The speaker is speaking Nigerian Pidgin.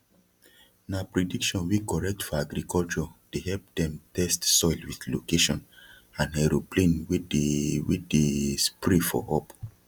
na prediction wey correct for agriculture dey help dem test soil with location and aeroplane wey dey wey dey spray for up